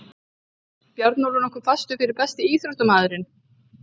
Bjarnólfur nokkuð fastur fyrir Besti íþróttafréttamaðurinn?